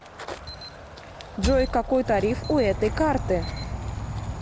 джой какой тариф у этой карты